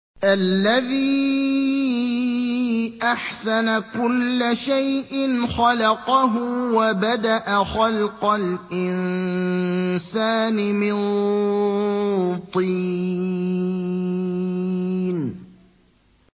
الَّذِي أَحْسَنَ كُلَّ شَيْءٍ خَلَقَهُ ۖ وَبَدَأَ خَلْقَ الْإِنسَانِ مِن طِينٍ